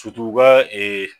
U ka